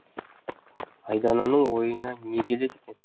айдананың ойына не келеді екен